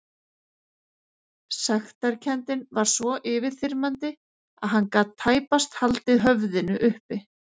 Sektarkenndin var svo yfirþyrmandi að hann gat tæpast haldið höfðinu uppi.